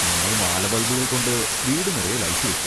ഞങ്ങൾ മാലബൾബുകൾ കൊണ്ട് വീടുനിറയെ ലൈറ്റ് വെക്കും.